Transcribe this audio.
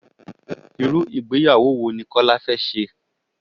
Irú ìgbéyàwó wo ni Kọ́lá fé se?